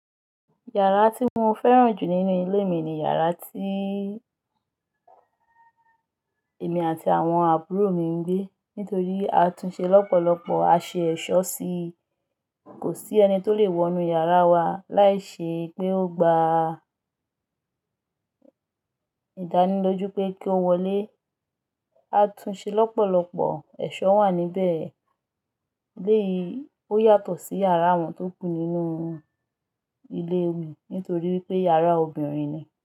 Yàrá tí mo fẹ́ràn jù nínú ilé mi ni yàrá tíì èmi àti àwọn àbúrò mi ń gbé. Nítorí a tún ṣe lọ́pọ̀lọpọ̀, a ṣe ẹ̀ṣọ́ sí i. Kò sí ẹni tó le wọ inú yàrá wa láì ṣe pé ó gba ìdánilójú pé kí ó wọlé. A tún ṣe lọ́pọ̀lọpọ̀, ẹ̀ṣọ́ wà níbẹ̀. Léyìí, ó yàtọ̀ sí yàrá àwọn tó kú nínú ilé mi nítorí pé yàrá obìnrin ni.